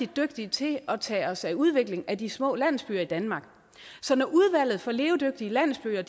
dygtige til at tage os af udvikling af de små landsbyer i danmark så når udvalget for levedygtige landsbyer